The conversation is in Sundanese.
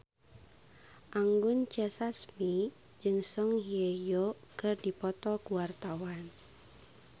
Anggun C. Sasmi jeung Song Hye Kyo keur dipoto ku wartawan